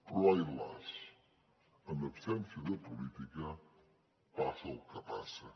però ai las en absència de política passa el que passa